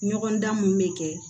Ɲɔgɔn dan mun be kɛ